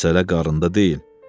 Məsələ qarında deyil.